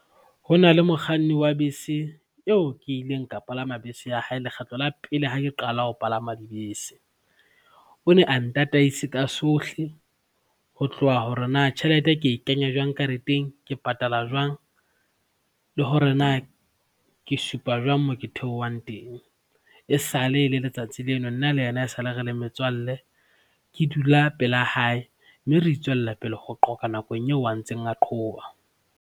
Ho na le mokganni wa bese eo ke ileng ka palama bese ya hae lekgetlo la pele ho ke qala ho palama dibese. O ne a ntataise ka sohle ho tloha hore na tjhelete e ke e kenya jwang kareteng, ke patala jwang le hore na ke supa jwang moo ke theohang teng. E sale e le letsatsi leo, nna le yena e sale re le metswalle, ke dula pela hae mme re tswellapele ho qoga nakong eo a ntseng a qhoba.